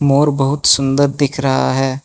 मोर बहुत सुंदर दिख रहा है।